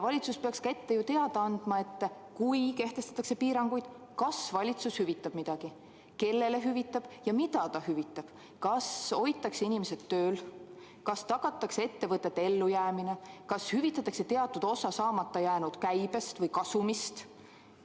Valitsus peaks ka ette teada andma, et kui kehtestatakse piirangud, siis kas valitsus hüvitab midagi, kui hüvitab, siis kellele hüvitab ja mida hüvitab, kas hoitakse inimesed tööl, kas tagatakse ettevõtete ellujäämine, kas hüvitatakse teatud osa saamata jäänud käibest või kasumist.